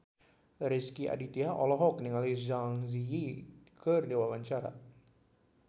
Rezky Aditya olohok ningali Zang Zi Yi keur diwawancara